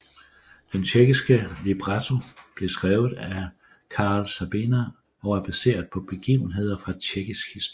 Den tjekkiske libretto blev skrevet af Karel Sabina og er baseret på begivenheder fra tjekkisk historie